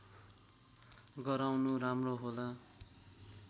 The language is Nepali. गराउनु राम्रो होला